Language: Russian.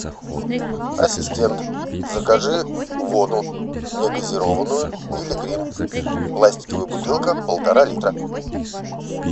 ассистент закажи воду негазированную пилигрим пластиковая бутылка полтора литра